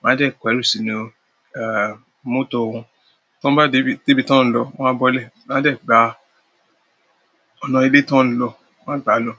wọ́n á dà ìpẹ̀rù sínú, mọ́tò wọn. Tí wọ́n bá dé ibi tí wọ́n ń lọ, wọ́n á bọ́lẹ̀, wọ́n á de gba ọ̀nà ilé tí wọ́n ń lọ, wọ́n á gbà lọ.